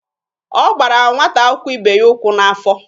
Ọ gbara nwata akwụkwọ ibe ya ụkwụ n'afọ.